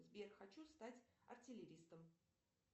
сбер хочу стать артиллеристом